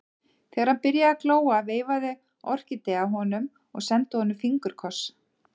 Þegar hann byrjaði að glóa veifaði Orkídea honum og sendi honum fingurkoss.